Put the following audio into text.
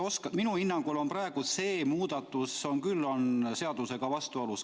Minu hinnangul on see muudatus küll seadusega vastuolus.